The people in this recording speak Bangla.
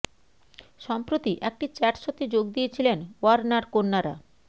সম্প্রতি একটি চ্যাট শো তে যোগ দিয়েছিলেন ওয়ার্নার কন্যারা